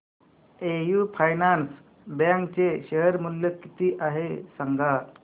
AU finance bank चे share मूल्य किती आहे सांगा